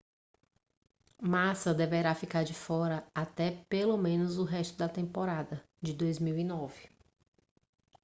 massa deverá ficar de fora até pelo menos o resto da temporada de 2009